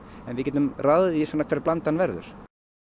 en við getum ráðið því svona hver blandan verður